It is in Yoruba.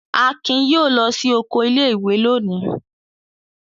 Akin yóò lọ sí oko ilé-ìwé lónìí!